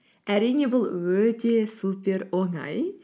әрине бұл өте супер оңай